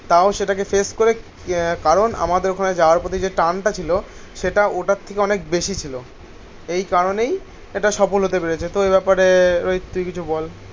তাও সেটাকে ফেস করে আহ কারণ আমাদের ওখানে যাওয়ার পথে যে টার্ন টা ছিল সেটা ওটার থেকে অনেক বেশি ছিল. এই কারণেই এটা সফল হতে পেরেছে. তো এই ব্যাপারে রোহিত তুই কিছু বল.